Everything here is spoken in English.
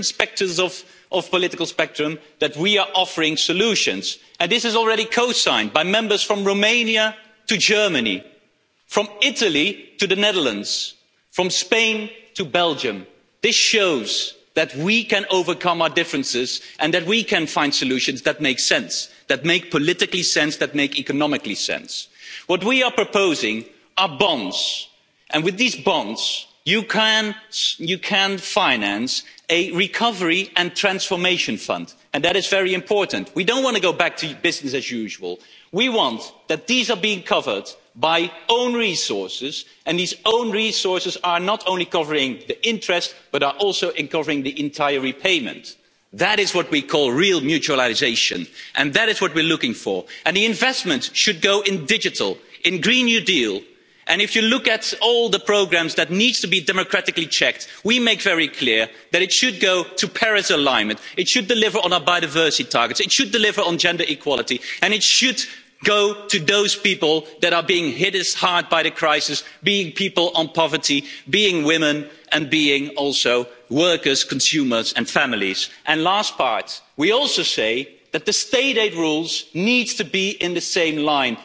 Certainly not because action is postponed the plans are postponed week after week. Well, only the expectations are rising with that. So we expect a plan, and we as a Parliament are guiding the way. We are showing, that with five political groups from the different sectors of the political spectrum that we are offering solutions. And this is already co signed by Members from Romania to Germany, from Italy to the Netherlands, from Spain to Belgium. This shows that we can overcome our differences and that we can find solutions that make sense, that make political sense, that make economic sense. What we are proposing are bonds. And with these bonds, you can finance a recovery and transformation fund. And that is very important. We don't want to go back to business as usual. We want that these are being covered by own resources and these own resources are not only covering the interest, but are also covering the entire repayment. That is what we call real mutualisation, and that is what we are looking for. And the investment should go into digital, in the Green New Deal. And if you look at all the programmes that need to be democratically checked, we make very clear that it should go to alignment with the Paris Agreement. It should deliver on our biodiversity targets. It should deliver on gender equality. And it should go to those people that are being hit hard by the crisis, being people in poverty, being women and being also workers, consumers and families. And last part we also say that the state aid rules need to be